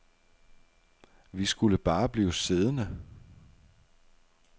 Vi skulle bare blive siddende.